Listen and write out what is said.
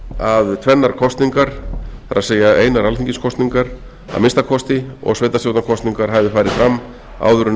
að tvennar kosningar það er einar alþingiskosningar að minnsta kosti og sveitarstjórnarkosningar hafi farið fram áður en